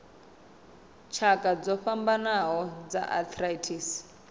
tshakha dzo fhambanaho dza arthritis